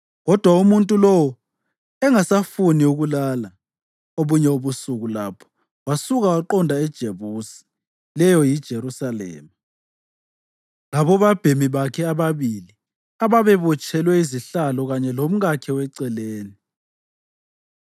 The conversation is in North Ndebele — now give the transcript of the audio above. Kodwa umuntu lowo engasafuni ukulala obunye ubusuku lapho, wasuka waqonda eJebusi (leyo yiJerusalema), labobabhemi bakhe ababili ababebotshelwe izihlalo kanye lomkakhe weceleni.